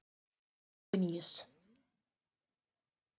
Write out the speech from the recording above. Antoníus